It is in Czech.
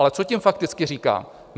Ale co tím fakticky říkám?